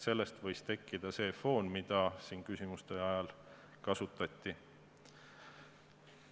Sellest võis tekkida see foon, mida siin küsimuste ajal kasutati.